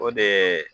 O de ye